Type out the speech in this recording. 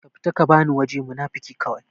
ka fita ka bani waje munafuki kawai